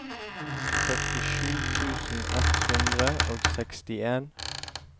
førtisju tusen ett hundre og sekstien